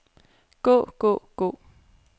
gå gå gå